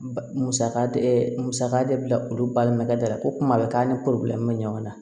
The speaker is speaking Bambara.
Mu musaka de musaka de bila olu balimakɛ da la ko kuma bɛ k'an ni mɛ ɲɔgɔn na